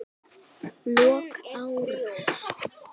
Lok árs.